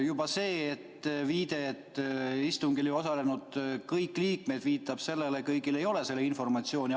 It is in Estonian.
Juba see viide, et istungil ei osale kõik liikmed, viitab sellele, et kõigil ei ole seda informatsiooni.